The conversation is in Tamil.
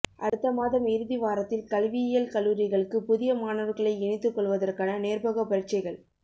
அடுத்த மாதம் இறுதி வாரத்தில் கல்வியியல் கல்லூரிகளுக்கு புதிய மாணவர்களை இணைத்துக் கொள்வதற்கான நேர்முகப் பரீட்சைகள்